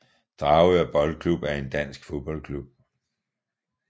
Dragør Boldklub er en dansk fodboldklub